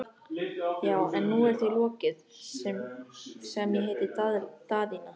Já, en nú er því lokið, sem ég heiti Daðína.